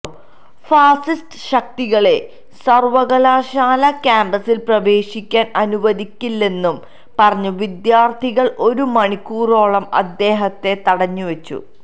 fascist ശക്തികളെ സര്വകലാശാലാ കാമ്പസില് പ്രവേശിക്കാന് അനുവദിക്കില്ലെന്നു പറഞ്ഞ് വിദ്യാര്ഥികള് ഒരു മണിക്കൂറോളം അദ്ദേഹത്തെ തടഞ്ഞുവച്ചു